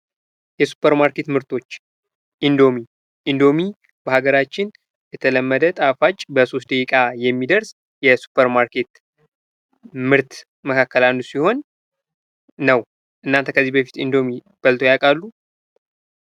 የሱፐር ማርኬት ምርቶች ፡-ኢንዶሚ በሀገራችን የተለመደ ጣፋጭ በሶስት ደቂቃ የሚደርስ ከሱፐር ማርኬት ምርቶች አንዱ ነው። እርስዎ ከዚህ በፊት ኢንዶሚ በልተው ያውቃሉ?